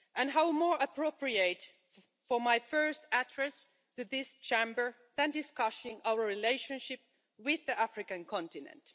How more appropriate for my first address to this Chamber than discussing our relationship with the African continent?